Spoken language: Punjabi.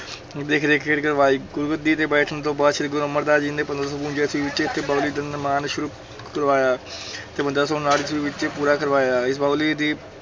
ਦੇਖ ਰੇਖ ਹੇਠ ਕਰਵਾਈ, ਗੁਰਗੱਦੀ ਤੇ ਬੈਠਣ ਤੋਂ ਬਾਅਦ ਸ੍ਰੀ ਗੁਰੂ ਅਮਰਦਾਸ ਜੀ ਨੇ ਪੰਦਰਾਂ ਸੌ ਬਵੰਜਾ ਈਸਵੀ ਵਿੱਚ ਇੱਥੇ ਬਾਉਲੀ ਦਾ ਨਿਰਮਾਣ ਸ਼ੁਰੂ ਕਰਵਾਇਆ ਤੇ ਪੰਦਰਾਂ ਸੌ ਉਣਾਹਠ ਈਸਵੀ ਵਿੱਚ ਪੂਰਾ ਕਰਵਾਇਆ, ਇਸ ਬਾਉਲੀ ਦੀ